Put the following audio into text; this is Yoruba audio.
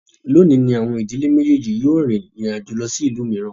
Lónìí ní àwọn ìdílé méjèèjì yíò rin ìrìn àjò lọ sí ìlú mìíràn